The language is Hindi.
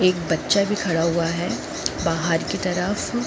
एक बच्चा भी खड़ा हुआ है बाहर की तरफ--